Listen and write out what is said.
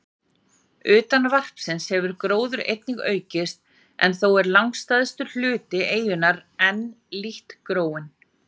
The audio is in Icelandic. Utan varpsins hefur gróður einnig aukist, en þó er langstærstur hluti eyjunnar enn lítt gróinn.